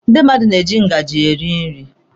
Ndị mmadụ na-eji ngaji eri nri.